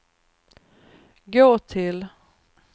gå till